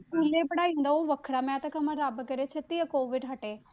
ਸਕੂਲੇ ਪੜ੍ਹਾਈ ਹੁੰਦਾ ਉਹ ਵੱਖਰਾ ਮੈਂ ਤਾਂ ਕਵਾਂ ਰੱਬ ਕਰੇ ਛੇਤੀ ਇਹ COVID ਹਟੇ